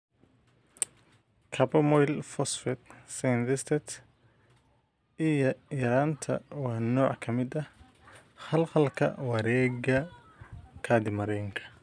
Carbamoyl phosphate synthetase I yaraanta waa nooc ka mid ah khalkhalka wareegga kaadimareenka.